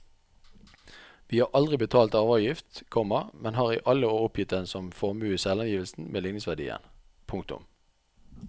Vi har aldri betalt arveavgift, komma men har i alle år oppgitt den som formue i selvangivelsen med ligningsverdien. punktum